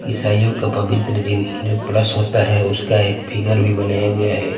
ईसाइयो का पवित्र चिन्ह जो प्लस होता हैं उसका एक फिगर भी बनाया गया हैं।